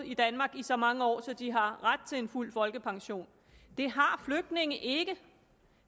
i danmark i så mange år at de har ret til en fuld folkepension det har flygtninge ikke